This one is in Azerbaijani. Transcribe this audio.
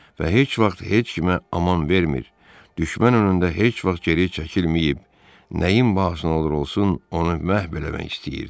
Və heç vaxt heç kimə aman vermir, düşmən önündə heç vaxt geri çəkilməyib, nəyin bahasına olur olsun, onu məhv eləmək istəyirdi.